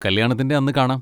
കല്യാണത്തിന്റെ അന്ന് കാണാം!